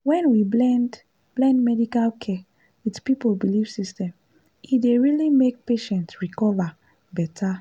when we blend blend medical care with people belief system e dey really make patient recovery better.